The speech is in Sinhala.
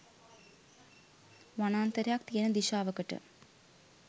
වනාන්තරයක් තියෙන දිශාවකට.